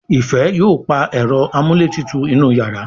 Ifẹ yóò pá Ẹ̀rọ amúlétutù inú iyàrá